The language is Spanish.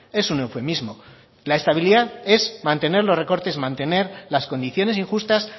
es un eufemismo la estabilidad es mantener los recortes mantener las condiciones injustas